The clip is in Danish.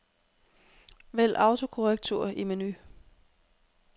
Vælg autokorrektur i menu.